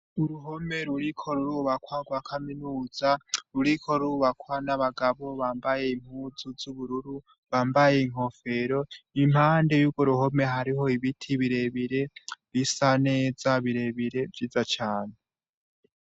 Uruhome ruriko rurubakwa rwa kaminuza ruriko rurubakwa n'abagabo bambaye impuzu z'ubururu bambaye inkofero, impande y'urwo ruhome hari ibiti birebire bisa neza birebire vyiza cane.